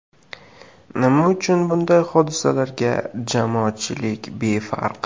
Nima uchun bunday hodisalarga jamoatchilik befarq?